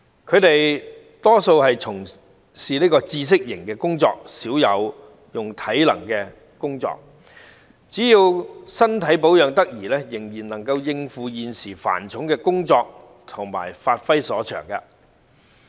他們大多數從事知識型工作，少有體能性的工作，所以只要身體保養得宜，仍然能夠應付現時繁重的工作量和發揮所長。